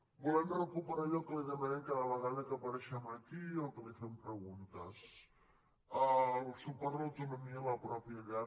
volem recuperar allò que li demanem cada vegada que apareixem aquí o que li fem preguntes el suport a l’autonomia en la mateixa llar